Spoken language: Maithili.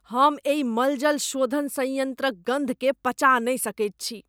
हम एहि मलजल शोधन संयन्त्रक गन्धकेँ पचा नहि सकैत छी।